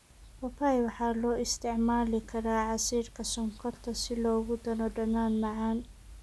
Papaya waxaa loo isticmaali karaa casiirka sonkorta si loogu daro dhadhan macaan.